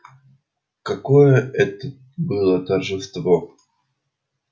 какое это было торжество